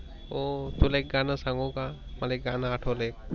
हो तुला एक गण संगुका मला एक गान आठवल्य.